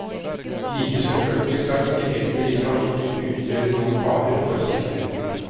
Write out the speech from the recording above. Like selvfølgelig skal ikke eldre i trafikken utgjøre noen fare for sikkerheten.